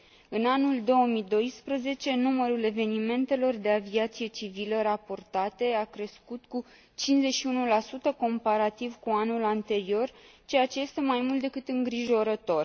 În anul 2012, numărul evenimentelor de aviație civilă raportate a crescut cu 51, comparativ cu anul anterior, ceea ce este mai mult decât îngrijorător.